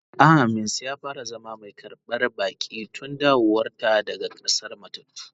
Aamins ya fara zama mai karban baki tun dawowar ta daga k'asar matattu.